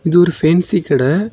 இது ஒரு ஃபேன்ஸி கடை.